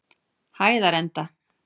Hæðarenda